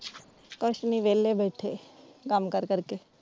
ਕੁੱਛ ਨੀ ਵੇਹਲੇ ਬੈਠੇ ਕੰਮ ਕਾਰ ਕਰ ਕੇ।